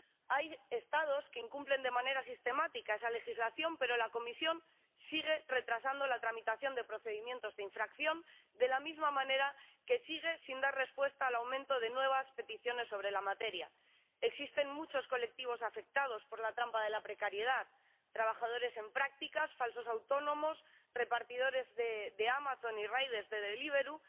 Hay Estados que incumplen de manera sistemática esa legislación, pero la Comisión sigue retrasando la tramitación de procedimientos de infracción, de la misma manera que sigue sin dar respuesta al aumento de nuevas peticiones sobre la materia. Existen muchos colectivos afectados por la trampa de la precariedad trabajadores en prácticas, falsos autónomos, repartidores de Amazon y Deliveroo,